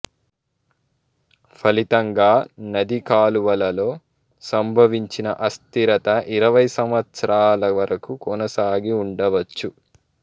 ఫలితంగా నది కాలువలలో సంభవించిన అస్థిరత ఇరవై సంవత్సరాల వరకు కొనసాగి ఉండవచ్చు